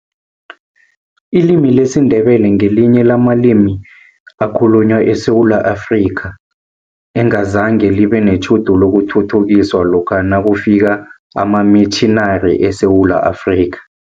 Ilimi lesiNdebele ngelinye lamalimi ekhalunywa eSewula Afrika, engazange libe netjhudu lokuthuthukiswa lokha nakufika amamitjhinari eSewula Afrika.